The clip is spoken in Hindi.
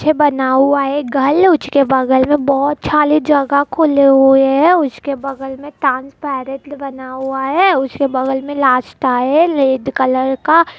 पीछे बना हुआ है घर उसके बगल में बहुत सारे जगह खुले हुए हैं उसके बगल में ट्रांसपेरेंट बना हुआ है उसके बगल में रेड कलर का --